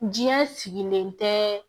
Diɲɛ sigilen tɛ